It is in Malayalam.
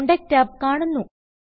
കോണ്ടാക്റ്റ് ടാബ് കാണുന്നു